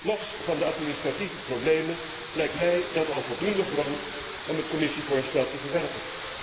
Los van de administratieve problemen lijkt mij dat al voldoende grond om het Commissievoorstel te verwerpen.